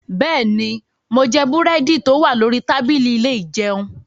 Bẹ́ẹ̀ni, mo jẹ búrẹ́dì tó wà lórí tábìlì ilé ìjẹun.